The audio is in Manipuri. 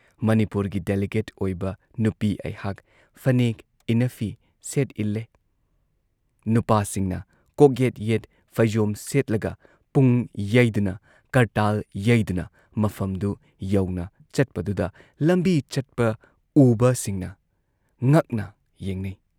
ꯃꯅꯤꯄꯨꯔꯒꯤ ꯗꯦꯂꯤꯒꯦꯠ ꯑꯣꯏꯕ ꯅꯨꯄꯤ ꯑꯩꯍꯥꯛ ꯐꯅꯦꯛ ꯏꯟꯅꯐꯤ ꯁꯦꯠ ꯏꯜꯂꯦ, ꯅꯨꯄꯥꯁꯤꯡꯅ ꯀꯣꯛꯌꯦꯠ ꯌꯦꯠ ꯐꯩꯖꯣꯝ ꯁꯦꯠꯂꯒ ꯄꯨꯡ ꯌꯩꯗꯨꯅ ꯀꯔꯇꯥꯜ ꯌꯩꯗꯨꯅ ꯃꯐꯝꯗꯨ ꯌꯧꯅ ꯆꯠꯄꯗꯨꯗ ꯂꯝꯕꯤ ꯆꯠꯄ ꯎꯕꯁꯤꯡꯅ ꯉꯛꯅ ꯌꯦꯡꯅꯩ ꯫